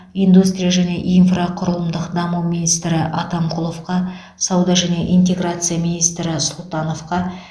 индустрия және инфрақұрылымдық даму министрі атамқұловқа сауда және интеграция министрі сұлтановқа